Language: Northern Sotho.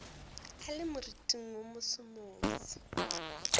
a le moriting wo mosomoso